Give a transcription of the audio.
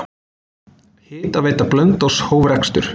Hitaveita Blönduóss hóf rekstur.